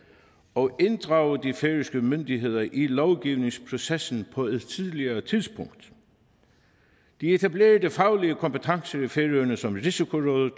og inddrage de færøske myndigheder i lovgivningsprocessen på et tidligere tidspunkt de etablerede faglige kompetencer i færøerne som risikorådet